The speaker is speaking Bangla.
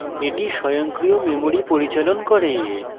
এটি স্বয়ংক্রিয় memory পরিচালন করে